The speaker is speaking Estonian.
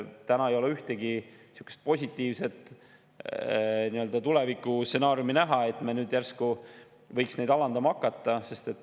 Täna ei ole ühtegi niisugust positiivset tulevikustsenaariumi näha, et me nüüd järsku võiks neid alandama hakata.